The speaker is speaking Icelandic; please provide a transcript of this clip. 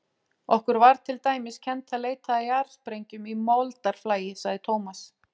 Okkur var til dæmis kennt að leita að jarðsprengjum í moldarflagi, sagði Thomas.